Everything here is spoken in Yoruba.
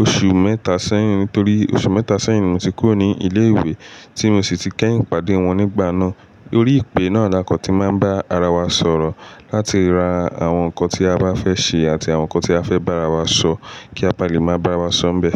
oṣù mẹ́ta sẹ́yìn nítorí oṣù mẹ́ta sẹ́yìn ni mo ti kúrò ní ilé-ìwé tí mo sì ti kẹ́yìn pàdé wọn nígbà náà. Lórí ìpè náà, la kọ̀n tí máa ń bá ara wa sọ̀rọ̀ láti ra àwọn nǹkan tí a bá fẹ́ ṣe àti àwọn nǹkan tí a fẹ́ bára wa sọ kí a baà lè máa bá ara wa sọ́ ḿbẹ̀.